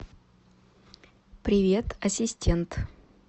привет ассистент